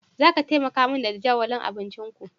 Zaka taimaka min da jadawalin abincinku?